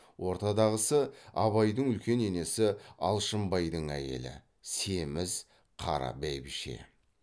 ортадағысы абайдың үлкен енесі алшынбайдың әйелі семіз қара бәйбіше